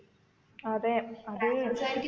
അതെ അത്